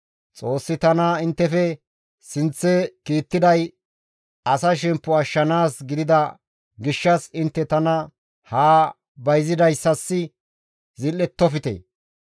Xoossi tana inttefe sinththe kiittiday asa shemppo ashshanaas gidida gishshas intte tana haa bayzidayssas zil7ettofte.